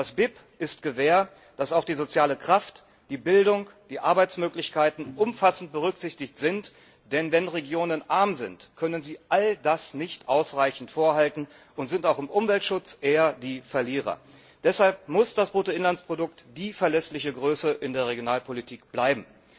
Das BIP ist Gewähr, dass auch die soziale Kraft, die Bildung, die Arbeitsmöglichkeiten umfassend berücksichtigt werden, denn wenn Regionen arm sind, können sie all das nicht ausreichend vorhalten und sind auch im Umweltschutz eher die Verlierer. Deshalb muss das Bruttoinlandsprodukt die verlässliche Größe in der Regionalpolitik bleiben.